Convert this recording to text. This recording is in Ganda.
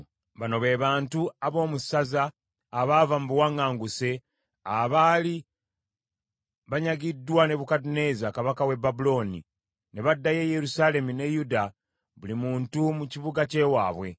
Bano be bantu ab’omu ssaza abaava mu buwaŋŋanguse abaali banyagiddwa Nebukadduneeza kabaka w’e Babulooni; ne baddayo e Yerusaalemi ne Yuda, buli muntu mu kibuga ky’ewaabwe.